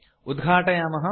उद्घाटयामः